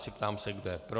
Ptám se, kdo je pro.